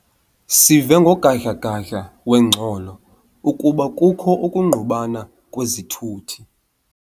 Sive ngogadla-gadla wengxolo ukuba kukho ukungqubana kwezithuthi.